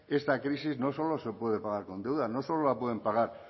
esta crisis no solo se puede pagar con deuda no solo la pueden pagar